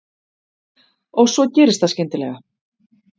Og svo gerist það skyndilega.